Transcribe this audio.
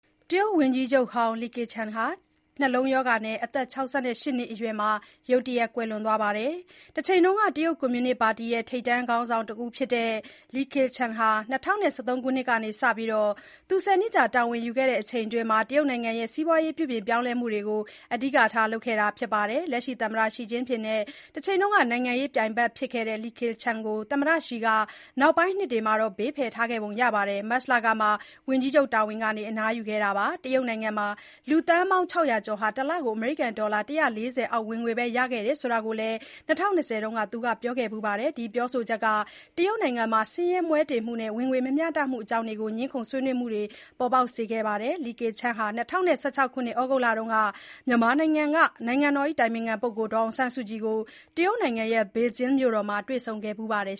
တရုတ်ဝန်ကြီးချုပ်ဟောင်း လီခေ့ချန် (Li Keqiang) ဟာ ရုတ်တရက် နှလုံးရောဂါနဲ့ အသက် ၆၈ နှစ်အရွယ်မှာ ကွယ်လွန်သွားပါတယ်။ တချိန်က တရုတ်ကွန်မြူနစ်ပါတီက ထိပ်တန်းခေါင်းဆောင်တယောက်ဖြစ်ခဲ့တဲ့ Li Keqiang ဟာ ၂၀၁၃ ခုနှစ်ကစပြီး ၁၀ နှစ်ကြာ တာဝန်ယူခဲ့မှုအတွင်း တရုတ်နိုင်ငံ စီးပွားရေးပြုပြင်ပြောင်းလဲမှုတွေကို အဓိကထား လုပ်ခဲ့ပါတယ်။ လက်ရှိသမ္မတ Xi Jinping နဲ့တချိန်က နိုင်ငံရေး ပြိုင်ဘက်ဖြစ်ခဲ့တဲ့ Li Keqiang ကို သမ္မတ Xi ကနောက်ပိုင်းနှစ်တွေမှာ ဘေးဖယ်ထားခဲ့ပုံရခဲ့ပါတယ်။ မတ်လကမှ ဝန်ကြီးချုပ်တာဝန်ကနေ သူအနားယူခဲ့တာပါ။ တရုတ်နိုင်ငံမှာ လူသန်းပေါင်း ၆၀၀ ကျော်ဟာ တလကို အမေရိကန်ဒေါ်လာ ၁၄၀ အောက် ဝင်ငွေပဲ ရနေတဲ့အကြောင်း ၂၀၂၀ ခုနှစ်က Li Keqiang ပြောခဲ့ဖူးပါတယ်။ ဒီပြောဆိုချက်ကြောင့် တရုတ်နိုင်ငံမှာ ဆင်းရဲမွဲတေမှုနဲ့ ဝင်ငွေမမျှတမှုတွေအကြောင်း ငြင်းခုံဆွေးနွေးမှုတွေ ပေါ်ပေါက်ခဲ့ပါတယ်။ Li Keqiang ဟာ ၂၀၁၆ ခုနှစ် ဩဂုတ်လက မြန်မာနိုင်ငံက နိုင်ငံတော်အတိုင်ပင်ခံ ပုဂ္ဂိုလ်ဒေါ်အောင်ဆန်းစုကြည်ကို တရုတ်နိုင်ငံ ဘေဂျင်းမြို့တော်မှာ တွေ့ဆုံခဲ့ဖူးပါတယ်